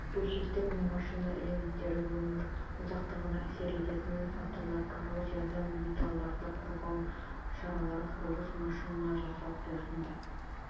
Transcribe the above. бөлшектер мен машина элементтері өмір ұзақтығына әсер ететін факторлар коррозиядан металдарды қорғау шаралары құрылыс машина жасау құрылысында